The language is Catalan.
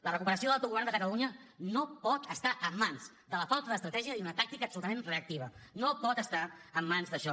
la recuperació de l’autogovern de catalunya no pot estar en mans de la falta d’estratègia i d’una tàctica absolutament reactiva no pot estar en mans d’això